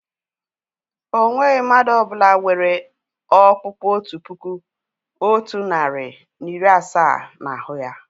Ọ nweghị mmadụ ọ bụla nwere ọ̀kpụ́kpu otu puku, otu narị na iri asaa n'ahu ya.